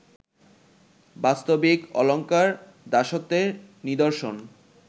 বাস্তবিক অলঙ্কার দাসত্বের নিদর্শন